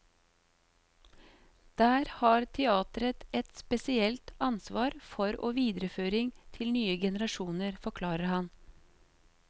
Der har teatret et spesielt ansvar for å videreføring til nye generasjoner, forklarer han.